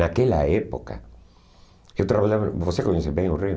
Naquela época, eu trabalhava... Você conhece bem o Rio?